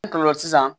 N kɔrɔ la sisan